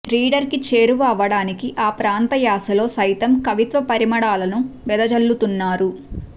రీడర్కి చేరువ అవ్వడానికి ఆ ప్రాంత యాసలో సైతం కవిత్వ పరిమళాలను వెదజల్లుతున్నారు